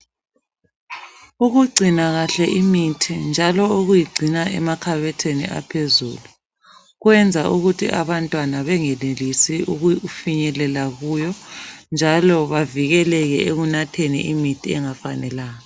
Ukugcina kahle imithi njalo ukuyigcina emakhabothini aphezulu, kwenza ukuthi abantwana bengenelisi ukufinyelela kuyo njalo bavikeleke ekunatheni imithi engafanelanga.